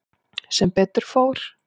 Sem betur fór.